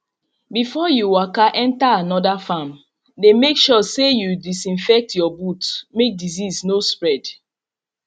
before you waka enter another farm dey make sure say you disinfect your boot make disease no spread